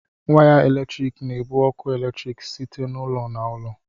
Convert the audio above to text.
Way eletrik na-ebu ọkụ eletrik site n'ụlọ na ụlọ. "